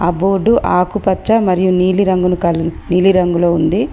ఆ బోర్డు ఆకుపచ్చ మరియు నీలి రంగును కలిగి నీలి రంగులో ఉంది.